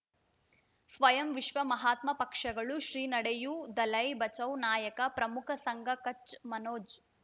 ಸ್ವಯಂ ವಿಶ್ವ ಮಹಾತ್ಮ ಪಕ್ಷಗಳು ಶ್ರೀ ನಡೆಯೂ ದಲೈ ಬಚೌ ನಾಯಕ ಪ್ರಮುಖ ಸಂಘ ಕಚ್ ಮನೋಜ್